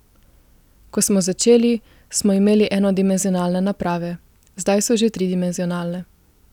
Ko smo začeli, smo imeli enodimenzionalne naprave, zdaj so že tridimenzionalne.